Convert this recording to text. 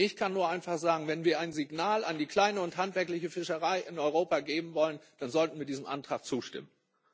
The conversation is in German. Ich kann nur einfach sagen Wenn wir ein Signal an die kleine und handwerkliche Fischerei in Europa geben wollen, dann sollten wir diesem Antrag zustimmen.